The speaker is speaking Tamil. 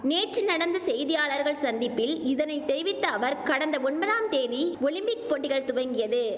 நேற்று நடந்த செய்தியாளர்கள் சந்திப்பில் இதனை தெரிவித்த அவர் கடந்த ஒம்பதாம் தேதி ஒலிம்பிக் போட்டிகள் துவங்கியது